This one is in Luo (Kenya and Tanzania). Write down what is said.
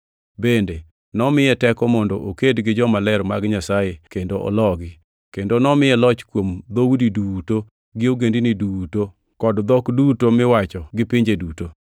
Bende nomiye teko mondo oked gi jomaler mag Nyasaye kendo ologi, kendo nomiye loch kuom dhoudi duto, gi ogendini kod dhok duto miwacho gi pinje duto.